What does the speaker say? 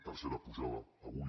tercera pujada avui